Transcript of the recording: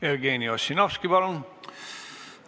Jevgeni Ossinovski, palun!